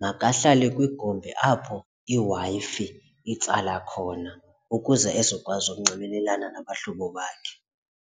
makahlale kwigumbi apho iW-Fi itsala khona ukuze ezokwazi ukunxibelelana nabahlobo bakhe.